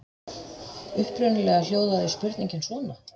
Upprunalega hljóðaði spurningin svona?